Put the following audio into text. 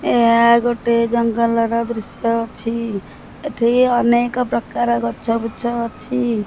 ଏହା ଗୋଟେ ଜଙ୍ଗଲର ଦୃଶ୍ୟ ଅଛି ଏଠି ଅନେକ ପ୍ରକାର ଗଛ ବୁଛ ଅଛି।